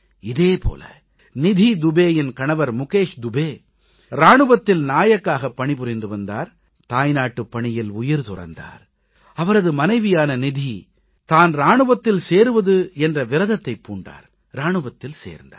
இதே போல நிதி துபேயின் கணவர் முகேஷ் துபே இராணுவத்தில் நாயக்காகப் பணிபுரிந்து வந்தார் தாய்நாட்டுப் பணியில் உயிர் துறந்தார் அவரது மனைவியான நிதி தான் இராணுவத்தில் சேருவது என்ற விரதத்தைப் பூண்டார் இராணுவத்தில் சேர்ந்தார்